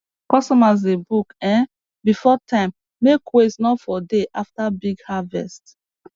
customers dey book um before time make waste no for dey after big harvest